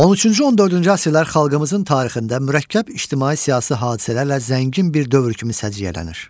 13-cü-14-cü əsrlər xalqımızın tarixində mürəkkəb ictimai-siyasi hadisələrlə zəngin bir dövr kimi səciyyələnir.